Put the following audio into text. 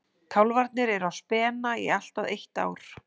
Kálfarnir eru á spena í allt að eitt ár.